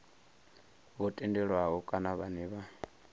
vho tendelwaho kana vhane vha